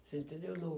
Você entendeu,